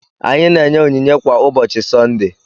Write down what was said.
Anyị na-enye onyinye kwa ụbọchị Sọnde.